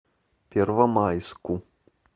первомайску